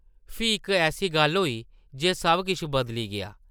फ्ही इक ऐसी गल्ल होई जे सब किश बदली गेआ ।